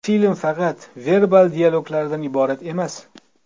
Film faqat verbal dialoglardan iborat emas.